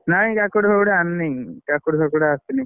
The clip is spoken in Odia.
ନାଇଁ କାକୁଡି ଫାକୁଡି ଆଣିନି, କାକୁଡି ଫାକୁଡି ଆସିନି।